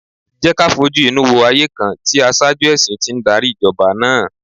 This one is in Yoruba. Jẹ́ ká fojú inú wo ayé kan tí aṣáájú ẹ̀sìn ti ń darí Ìjọba náà!